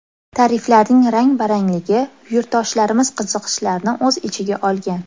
Tariflarning rang-barangligi yurtdoshlarimiz qiziqishlarini o‘z ichiga olgan.